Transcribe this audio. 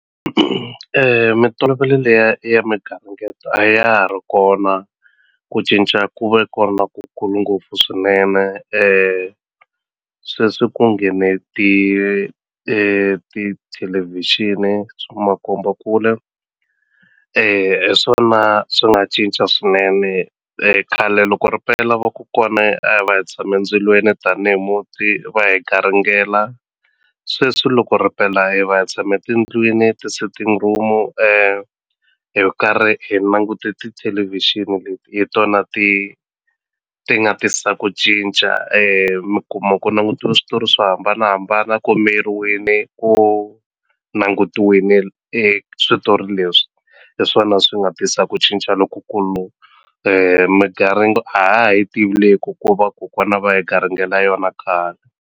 Mintolovelo liya ya migaringeto a ya ha ri kona ku cinca ku ve kona ku kulu ngopfu swinene sweswi ku nghene tithelevhixini swa makombakule hi swona swi nga cinca swinene khale loko ripela vakokwani a hi va hi tshame ndzilweni tanihi muti va hi garingela sweswi loko ripela hi va hi tshame tindlwini ti-sitting room hi karhi hi languti tithelevhixini leti hi tona ti ti nga tisa ku cinca mi kuma ku langutiwe switori swo hambanahambana ku miyeriwini ku langutiwini switori leswi hi swona swi nga tisa ku cinca lokukulu a ha ha yi tivi leyi va kokwana va hi garingela yona khale.